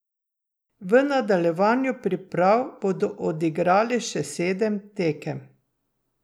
V nadaljevanju priprav bodo odigrali še sedem tekem.